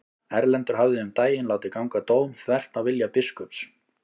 Erlendur hafði um daginn látið ganga dóm þvert á vilja biskups.